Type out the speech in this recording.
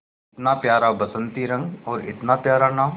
इतना प्यारा बसंती रंग और इतना प्यारा नाम